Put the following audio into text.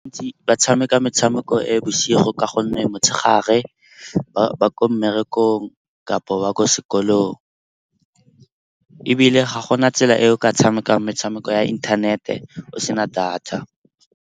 Ba tshameka metshameko e bosigo ka gonne motshegare ba ko mmerekong kapa ba ko sekolong. Ebile ga go na tsela e o ka tshamekang metshameko ya inthanete o se na data.